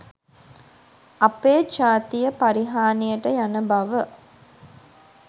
අපේ ජාතිය පරිහානියට යන බව